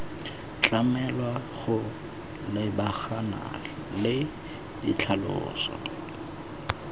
tlamelwa go lebagana le ditlhaloso